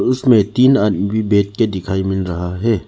ऊसमें तीन आदमी बैठ के दिखाई मिल रहा है।